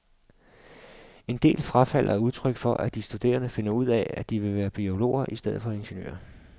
En del frafald er udtryk for, at de studerende finder ud af, at de vil være biologer i stedet for ingeniører.